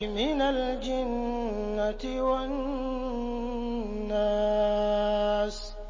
مِنَ الْجِنَّةِ وَالنَّاسِ